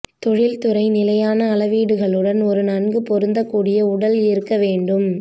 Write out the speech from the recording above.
தொழிற்துறை நிலையான அளவீடுகளுடன் ஒரு நன்கு பொருந்தக்கூடிய உடல் இருக்க வேண்டும்